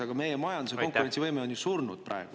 Aga meie majanduse konkurentsivõime on ju surnud praegu.